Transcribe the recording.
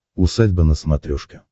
усадьба на смотрешке